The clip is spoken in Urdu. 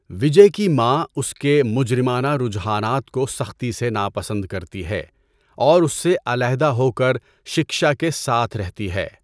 وجے کی ماں اس کے مجرمانہ رجحانات کو سختی سے ناپسند کرتی ہے اور اس سے علیحدہ ہو کر سکشا کے ساتھ رہتی ہے۔